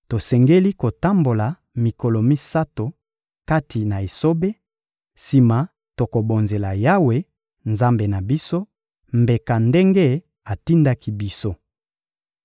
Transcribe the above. Tosengeli kotambola mikolo misato kati na esobe, sima tokobonzela Yawe, Nzambe na biso, mbeka ndenge atindaki biso.